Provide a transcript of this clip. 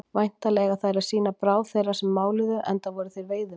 Væntanlega eiga þær að sýna bráð þeirra sem máluðu, enda voru þeir veiðimenn.